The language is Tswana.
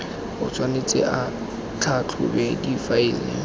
o tshwanetse a tlhatlhobe difaele